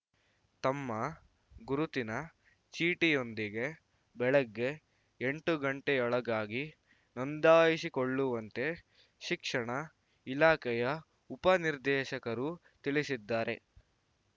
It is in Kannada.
ತಮ್ಮ ಗುರುತಿನ ಚೀಟಿಯೊಂದಿಗೆ ಬೆಳಗ್ಗೆ ಎಂಟು ಗಂಟೆಯೊಳಗಾಗಿ ನೋಂದಾಯಿಸಿಕೊಳ್ಳುವಂತೆ ಶಿಕ್ಷಣ ಇಲಾಖೆಯ ಉಪನಿರ್ದೇಶಕರು ತಿಳಿಸಿದ್ದಾರೆ